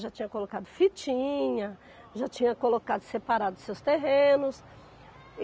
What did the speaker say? Já tinha colocado fitinha, já tinha colocado separado seus terrenos. E